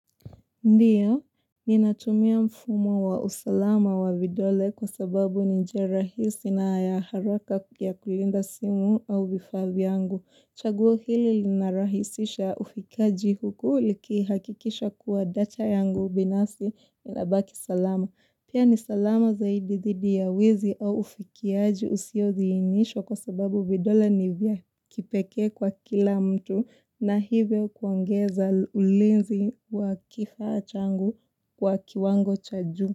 Ndiyo, ninatumia mfumo wa usalama wa vidole kwa sababu ni njia rahisi na ya haraka ya kulinda simu au vifaa vyangu. Chaguo hili linarahisisha ufikaji huku likihakikisha kuwa data yangu binafsi inabaki salama. Pia ni salama zaidi dhidi ya wizi au ufikiaji usiodhihinishwa kwa sababu vidole ni vya kipekee kwa kila mtu na hivyo kuongeza ulinzi wa kifaa changu kwa kiwango cha juu.